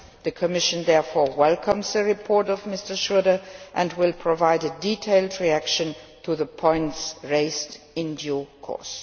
The Commission therefore welcomes the report by Mr Schröder and will provide a detailed reaction to the points raised in due course.